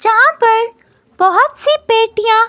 जहां पर बहुत सी पेटियां--